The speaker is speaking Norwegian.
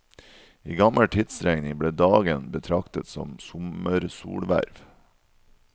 I gammel tidsregning ble dagen betraktet som sommersolhverv.